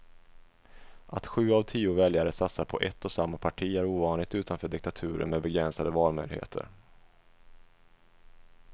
Att sju av tio väljare satsar på ett och samma parti är ovanligt utanför diktaturer med begränsade valmöjligheter.